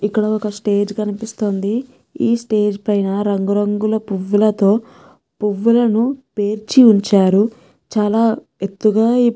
ఇక్కడ ఒక్క స్టేజ్ కనిపిస్తోందిఈ స్టేజ్ పైన రంగురంగుల పువ్వులతో పువ్వులను పేర్చివుంచారుచాలా ఎత్తుగా ఈ పువ్వులను --.